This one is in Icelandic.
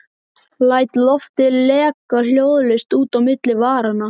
Læt loftið leka hljóðlaust út á milli varanna.